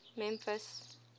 memphis